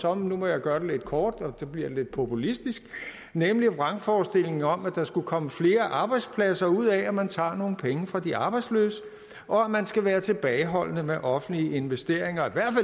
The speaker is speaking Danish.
og nu må jeg gøre det lidt kort og det bliver lidt populistisk nemlig en vrangforestilling om at der skulle komme flere arbejdspladser ud af at man tager nogle penge fra de arbejdsløse og at man skal være tilbageholdende med offentlige investeringer